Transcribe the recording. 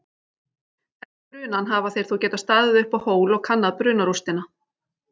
Eftir brunann hafa þeir þó getað staðið uppá hól og kannað brunarústina.